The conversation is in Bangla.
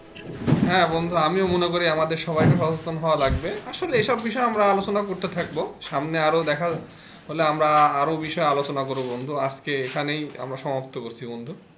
হ্যাঁ বন্ধু আমিও মনে করি আমাদের সবাইকে সচেতন হওয়া লাগবে আসলে এসব বিষয়ে আমরা আলোচনা করতে থাকবো সামনে আরো দেখা হলে আমরা আরো বিষয়ে আলোচনা করব বন্ধু আজকে এখানেই আমরা সমাপ্ত করছি বন্ধু।